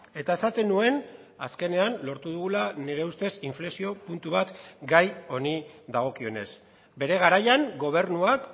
eta esaten nuen azkenean lortu dugula nire ustez inflexio puntu bat gai honi dagokionez bere garaian gobernuak